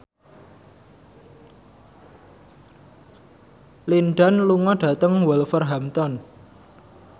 Lin Dan lunga dhateng Wolverhampton